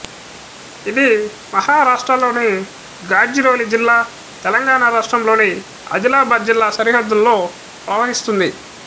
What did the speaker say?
ఇది మహారాష్ట్రలోని గాడ్చిరోలి జిల్లా తెలంగాణలోని ఆదిలాబాద్ జిల్లా సరిహద్దులో ప్రవహిస్తుంది